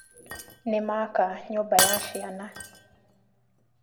Nĩmaka nyũmba ya ciana